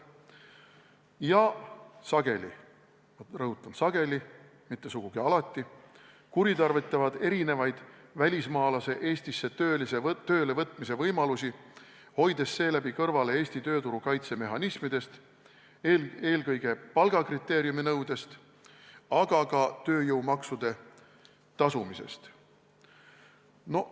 Ja sageli – rõhutan: sageli, mitte sugugi alati – kuritarvitatakse välismaalase Eestisse tööle võtmise erinevaid võimalusi, hoides seeläbi kõrvale Eesti tööturu kaitse mehhanismidest, eelkõige palgakriteeriuminõudest, aga ka tööjõumaksude tasumisest.